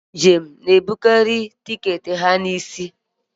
ndị njem na-ebukarị tiketi ha n'isi